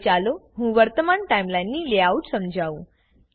હવે ચાલો હું વર્તમાન ટાઈમલાઈનની લેઆઉટ સમજાવું